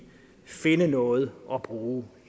finde noget at bruge